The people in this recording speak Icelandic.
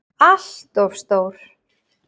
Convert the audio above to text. ALLT OF STÓR!